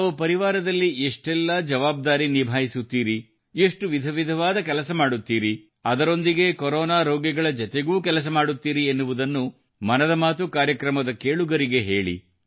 ತಾವು ಪರಿವಾರದಲ್ಲಿ ಎಷ್ಟೆಲ್ಲ ಜವಾಬ್ದಾರಿ ನಿಭಾಯಿಸುತ್ತೀರಿ ಎಷ್ಟು ವಿಧವಿಧವಾದ ಕೆಲಸ ಮಾಡುತ್ತೀರಿ ಅದರೊಂದಿಗೇ ಕೊರೋನಾ ರೋಗಿಗಳ ಜತೆಗೂ ಕೆಲಸ ಮಾಡುತ್ತೀರಿ ಎನ್ನುವುದನ್ನು ಮನದ ಮಾತು ಕಾರ್ಯಕ್ರಮದ ಕೇಳುಗರಿಗೆ ಹೇಳಿ